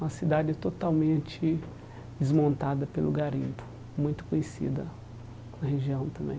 Uma cidade totalmente desmontada pelo garimpo, muito conhecida na região também.